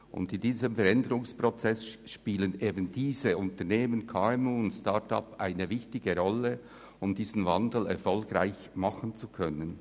In diesem Veränderungsprozess spielen die KMU und die Start-ups eine wichtige Rolle, um diesen Wandel erfolgreich vollziehen zu können.